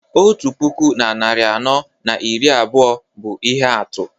otu puku na narị anọ na iri abụọ bụ ihe atụ